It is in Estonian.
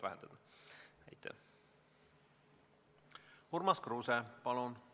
Urmas Kruuse, palun!